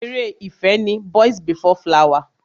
Ere ìfẹ́ ni Boys before flower.